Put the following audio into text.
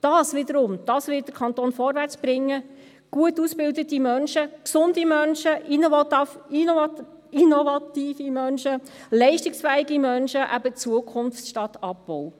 Das wiederum wird den Kanton vorwärtsbringen: gut ausgebildete Menschen, gesunde Menschen, innovative Menschen, leistungsfähige Menschen – eben Zukunft statt Abbau.